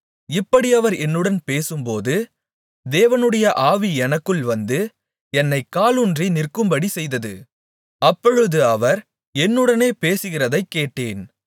இப்படி அவர் என்னுடன் பேசும்போது தேவனுடைய ஆவி எனக்குள் வந்து என்னைக் காலூன்றி நிற்கும்படி செய்தது அப்பொழுது அவர் என்னுடனே பேசுகிறதைக்கேட்டேன்